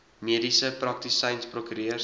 mediese praktisyns prokureurs